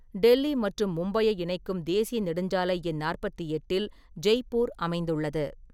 டெல்லி மற்றும் மும்பையை இணைக்கும் தேசிய நெடுஞ்சாலை எண் நாற்பத்தி எட்டில் ஜெய்ப்பூர் அமைந்துள்ளது.